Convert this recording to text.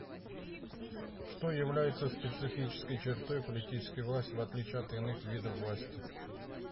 что является специфической чертой политической власти в отличие от иных видов власти